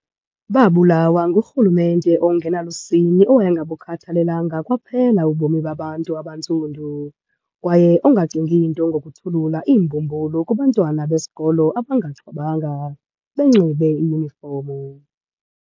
Babulawa ngurhulumente ongenalusini owayengabukhathalelanga kwaphela ubomi babantu abantsundu, kwaye ongacingi nto ngokuthulula iimbhubhulu kubantwana besikolo abangaxhobanga, benxibe iyunifomu.